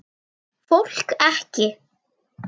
Fólk ekki.